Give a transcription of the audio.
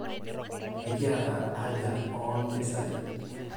enkiaata haja oo impisai